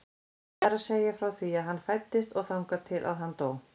Það er að segja frá því að hann fæddist og þangað til að hann dó.